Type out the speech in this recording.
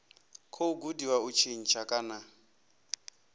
khou gudiwa u tshintsha kana